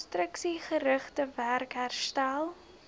konstruksiegerigte werk herstel